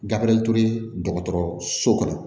Gafe dɔgɔtɔrɔso kɔnɔ